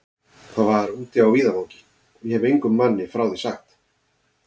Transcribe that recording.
Það var úti á víðavangi, og ég hefi engum manni frá því sagt.